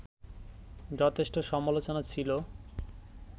যথেষ্ট সমালোচনা ছিল